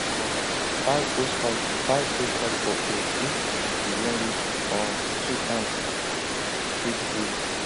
um tie hosepipe tie hosepipe for pole if you wan use um two hands spray freely